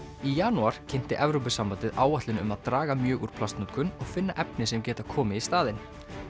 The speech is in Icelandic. í janúar kynnti Evrópusambandið áætlun um að draga mjög úr plastnotkun og finna efni sem geta komið í staðinn